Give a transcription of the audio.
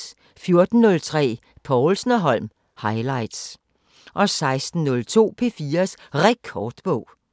14:03: Povlsen & Holm highligts 16:02: P4's Rekordbog